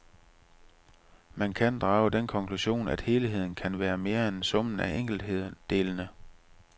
Man kan drage den konklusion, at helheden kan være mere end summen af enkeltdelene.